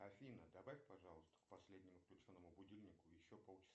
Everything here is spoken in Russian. афина добавь пожалуйста к последнему включенному будильнику еще полчаса